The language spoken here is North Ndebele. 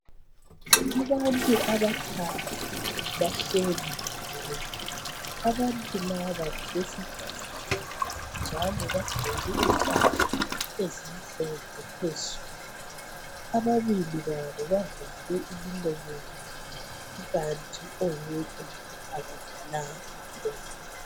Abantu abathathu bahleli ndawonye, abantu laba ngabesifazana njalo bagqoke impahla ezimhlophe phezulu, ababili babo bavale imilomo yabo ikanti oyedwa akavalanga umlomo.